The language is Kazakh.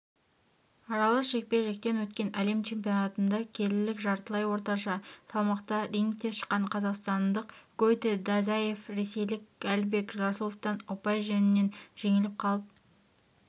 аралас жекпе-жектен өткен әлем чемпионатында келілік жартылай орташа салмақта рингке шыққан қазақстандық гойти дазаев ресейлік алибег расуловтан ұпай жөнінен жеңіліп қалып